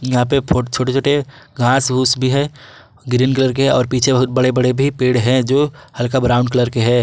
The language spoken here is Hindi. यहां पे बहुत छोटे छोटे घास फूस भी है ग्रीन कलर के और पीछे बहुत बड़े बड़े भी पेड़ है जो हल्का ब्राउन कलर के है।